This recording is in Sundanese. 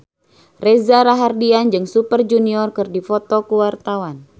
Reza Rahardian jeung Super Junior keur dipoto ku wartawan